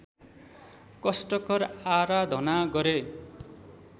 कष्टकर आराधना गरे